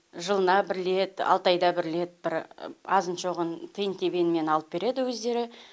жылына бір лет алты айда бір лет бір азын шоғын тиын тебеннен алып береді өздері